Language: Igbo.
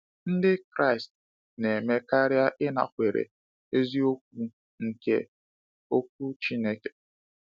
Ndị Kraịst na-eme karịa ịnakwere eziokwu nke Okwu Chineke.